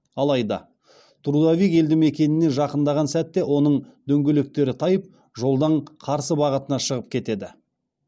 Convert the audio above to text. алайда трудовик елді мекеніне жақындаған сәтте оның дөңгелектері тайып жолдың қарсы бағытына шығып кетеді